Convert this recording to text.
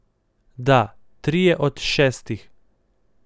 Da, trije od šestih.